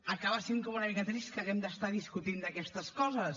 acaba sent com una mica trist que haguem d’estar discutint d’aquestes coses